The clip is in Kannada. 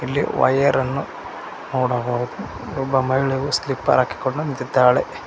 ಇಲ್ಲಿ ವಯರನ್ನು ನೋಡಬಹುದು ಒಬ್ಬ ಮಹಿಳೆ ಸ್ಲಿಪ್ಪರ್ ಹಾಕಿಕೊಂಡು ನಿಂತಿದ್ದಾಳೆ.